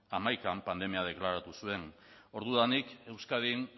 hamaikan pandemia deklaratu zuen ordudanik euskadin